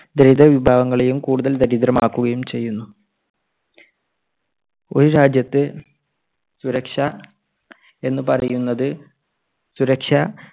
ദരിദ്ര വിഭാഗങ്ങളെയും കൂടുതൽ ദരിദ്രമാക്കുകയും ചെയ്യുന്നു. ഒരു രാജ്യത്ത് സുരക്ഷ എന്നു പറയുന്നത് സുരക്ഷ